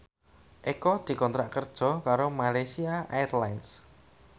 Eko dikontrak kerja karo Malaysia Airlines